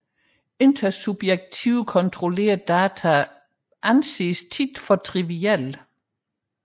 Intersubjektivt kontrollerede data anses ofte for trivielle